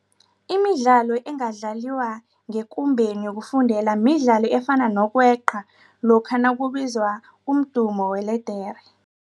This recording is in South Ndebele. Imidlalo engadlaliwa ngekumbeni yokufundela midlalo efana nokweqa lokha nakubizwa umdumo weledere.